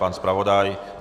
Pan zpravodaj?